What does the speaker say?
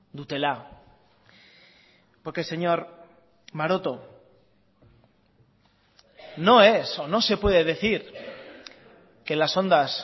dutela porque señor maroto no es o no se puede decir que las ondas